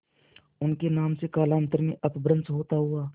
उनके नाम से कालांतर में अपभ्रंश होता हुआ